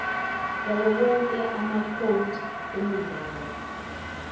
yawowonke amacode emidlalo